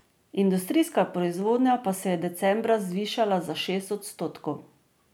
Industrijska proizvodnja pa se je decembra zvišala za šest odstotkov.